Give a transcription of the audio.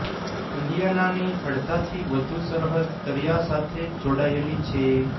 ઇન્ડિયાનાની અડધાથી વધુ સરહદ દરિયા સાથે જોડાયેલી છે